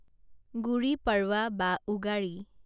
গুড়ি পড়ৱা বা উগাড়ি